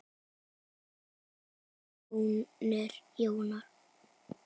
Þinn sonur, Jón Þór.